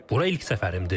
Bura ilk səfərimdir.